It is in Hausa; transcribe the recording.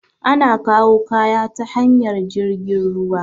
Ana kawu kaya ta hanyar jirgin ruwa